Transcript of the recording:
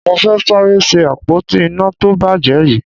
Mo fẹ́ sáré ṣe àpótí iná tó bàjẹ́ yìí